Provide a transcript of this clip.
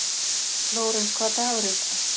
Lórens, hvaða dagur er í dag?